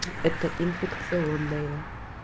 это инфекционное